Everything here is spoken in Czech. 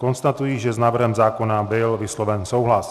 Konstatuji, že s návrhem zákona byl vysloven souhlas.